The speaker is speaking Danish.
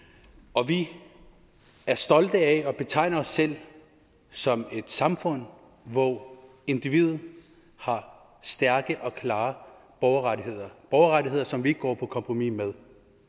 og vi er stolte af at kunne betegne os selv som et samfund hvor individet har stærke og klare borgerrettigheder borgerrettigheder som vi ikke går på kompromis med